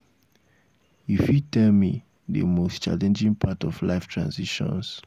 you fit tell me di most challenging part of life transitions?